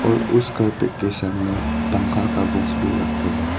उस कार्पेट के सामने पंखा का बॉक्स भी रखे हैं।